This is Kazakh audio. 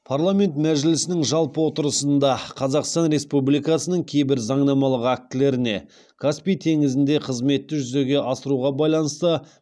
парламент мәжілісінің жалпы отырысында қазақстан республикасының кейбір заңнамалық актілеріне каспий теңізінде қызметті жүзеге асыруға байланысты